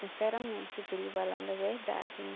Sinceramente, eu estou lhe falando a verdade, né?